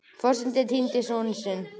Forsetinn er týndi sonurinn